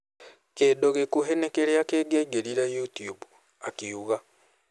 "kĩndũ gĩkuhĩ na kĩrĩa kĩngĩaingĩrire youtube, "akiuga